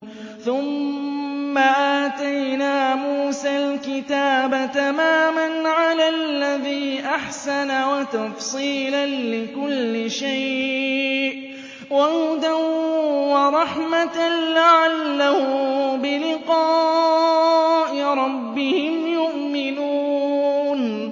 ثُمَّ آتَيْنَا مُوسَى الْكِتَابَ تَمَامًا عَلَى الَّذِي أَحْسَنَ وَتَفْصِيلًا لِّكُلِّ شَيْءٍ وَهُدًى وَرَحْمَةً لَّعَلَّهُم بِلِقَاءِ رَبِّهِمْ يُؤْمِنُونَ